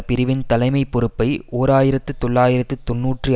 பிரிவின் தலைமை பொறுப்பை ஓர் ஆயிரத்தி தொள்ளாயிரத்தி தொன்னூற்றி